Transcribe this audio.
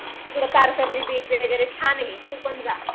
तिकडे तारकर्ली बीच वगैरे छान आहे तू पण जा.